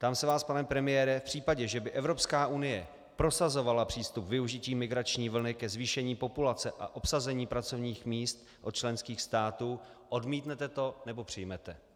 Ptám se vás, pane premiére: V případě, že by Evropská unie prosazovala přístup využití migrační vlny ke zvýšení populace a obsazení pracovních míst od členských států, odmítnete to, nebo přijmete?